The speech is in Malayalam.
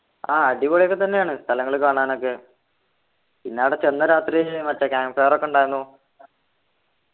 ആഹ് അടിപൊളിയൊക്കെത്തന്നെയാണ് സ്ഥലങ്ങള് കാണാനൊക്കെ പിന്നെ ആട ചെന്ന രാത്രി മറ്റേ camp fire ഒക്കെ ഉണ്ടായിരുന്നു